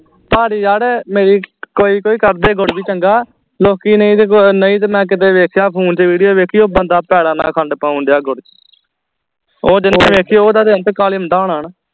ਪਰ ਯਾਰ ਮੇਰੀ ਕੋਈ ਕੋਈ ਕੱਢਦੇ ਗੁੜ ਵੀ ਚੰਗਾ ਲੋਕੀ ਨਹੀਂ ਤੇ ਨਹੀਂ ਤੇ ਮੈਂ ਕੀਤੇ ਵੇਖਿਆ phone ਚ video ਵੇਖੀ ਉਹ ਬੰਦਾ ਪੈਰਾਂ ਨਾਲ ਖੰਡ ਪਾਉਣ ਦਿਆਂ ਗੁੜ ਚ ਉਹ ਜਿਹਨੇ ਵੇਖੀ ਓਹਦਾ ਤੇ ਅੰਤਕਾਲ ਹੁੰਦਾ ਹੋਣਾ